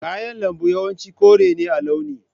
Kayan lambu yawanci kore ne a launi.